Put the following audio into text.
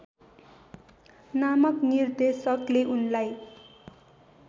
नामक निर्देशकले उनलाई